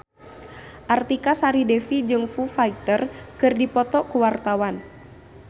Artika Sari Devi jeung Foo Fighter keur dipoto ku wartawan